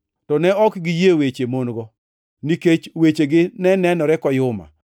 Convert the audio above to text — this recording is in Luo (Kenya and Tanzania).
To ne ok giyie weche mon-go, nikech wechegi ne nenore koyuma.